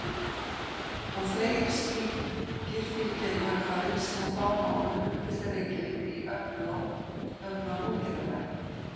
Og fleiri slíkir fylgja í kjölfarið sem á fáum árum umbylta Reykjavík í öflugan útgerðarbæ.